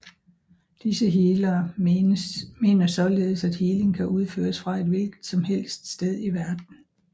Disse healere mener således at healing kan udføres fra og til hvilket som helst sted i verden